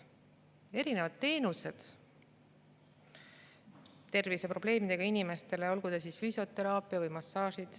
Erinevad teenused terviseprobleemidega inimestele, olgu füsioteraapia või massaaž.